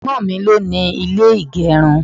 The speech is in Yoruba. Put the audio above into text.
Ẹ̀gbọ́n mi ló ni ilé ìgerun.